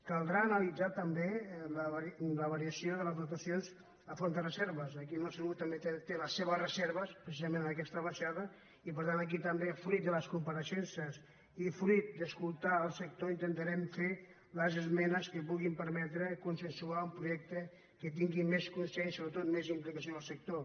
caldrà analitzar també la variació de les dotacions a fons de reserves aquí el nostre grup també té les seves reserves precisament en aquesta baixada i per tant aquí també fruit de les compareixences i fruit d’escoltar el sector intentarem fer les esmenes que puguin permetre consensuar un projecte que tingui més consens i sobretot més implicació del sector